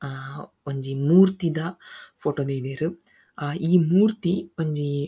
ಹಾ ಒಂಜಿ ಮೂರ್ತಿದ ಫೋಟೊ ದೈದೆರ್ ಹಾ ಈ ಮೂರ್ತಿ ಒಂಜಿ--